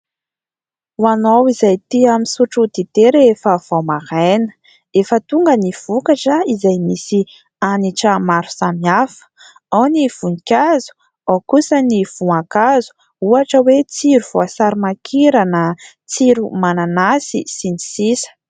Ho anao izay tia misotro dite rehefa vao maraina, efa tonga ny vokatra izay misy hanitra maro samy hafa, ao ny voninkazo ao kosa ny voankazo, ohatra hoe tsiro voasarimankirana, tsiro mananasy sy ny sisa.